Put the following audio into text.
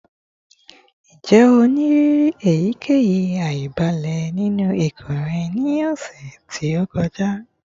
Njẹ o ni iriri eyikeyi aibalẹ ninu ikun rẹ ni ọsẹ to kọja?